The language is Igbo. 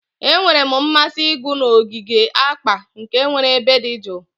Enwere m mmasị ịgụ na ogige akpa, nke nwere ebe dị jụụ